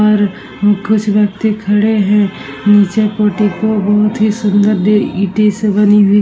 और कुछ व्यक्ति खड़े हैं। नीचे पोटीपो बोहोत ही सुंदर दे ईंटें से बनी हुई --